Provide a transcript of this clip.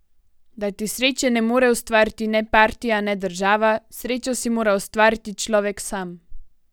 Da ti sreče ne more ustvariti ne partija ne država, srečo si mora ustvariti človek sam!